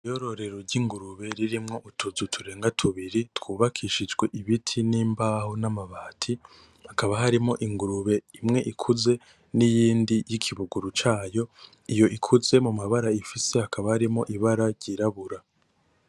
Iryororero ry'ingurube ririmwo utuzu turenga tubiri twubakishijwe ibiti n'imbaho n'amabati, hakaba harimwo ingurube imwe ikuze n'iyindi y'ikibuguru cayo, iyo ikuze mu mabara ifise hakaba harimwo ibara ry'irabura.